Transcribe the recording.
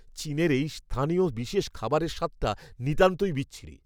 চীনের এই স্থানীয় বিশেষ খাবারের স্বাদটা নিতান্তই বিচ্ছিরি।